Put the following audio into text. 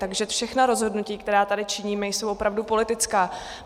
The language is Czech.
Takže všechna rozhodnutí, která tady činíme, jsou opravdu politická.